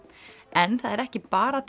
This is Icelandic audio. en það er ekki bara